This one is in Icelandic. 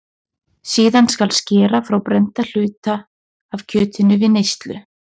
Síðan skal skera frá brennda hluta af kjötinu fyrir neyslu.